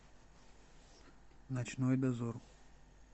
ночной дозор